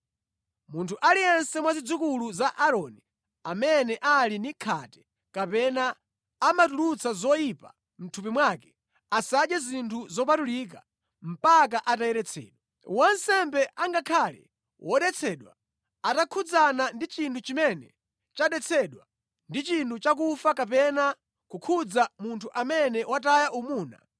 “Munthu aliyense mwa zidzukulu za Aaroni amene ali ndi khate kapena amatulutsa zoyipa mʼthupi mwake, asadye zinthu zopatulika mpaka atayeretsedwa. Wansembe angakhale wodetsedwa atakhudzana ndi chinthu chimene chadetsedwa ndi chinthu chakufa kapena kukhudza munthu amene wataya umuna,